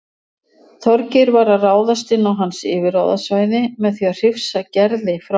Þorgeir var að ráðast inn á hans yfirráðasvæði með því að hrifsa Gerði frá honum.